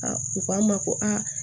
A u k'an ma ko aa